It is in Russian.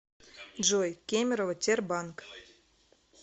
джой кемерово тербанк